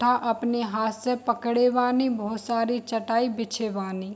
तथा अपने हाथ से पकड़े बानी बोहोत सारी चटाई बिछे बानी।